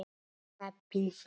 Pabbinn frægi.